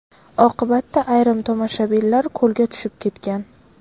Oqibatda ayrim tomoshabinlar ko‘lga tushib ketgan.